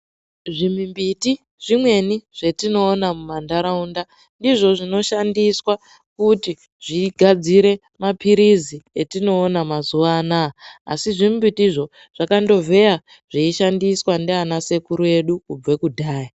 Zvi mimbiti zvimweni zvatino ona muma ndaraunda ndizvo zvino shandiswa kuti zvigadzire ma pirizi etinoona mazuva anaya asi zvi mbiti zvakando vheya zveishandiswa ndiana sekuru edu kubva kudhaya.